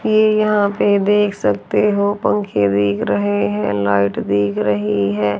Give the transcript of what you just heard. ये यहाँ पे देख सकते हो पंखें दिख रहे हैं लाइट दिख रह रही है।